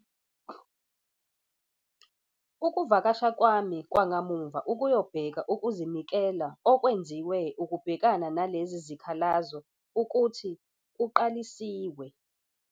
Ukuvakasha kwami kwakamuva ukuyobheka ukuzinikela okwenziwe ukubhekana nalezi zikhalazo ukuthi kuqalisiwe.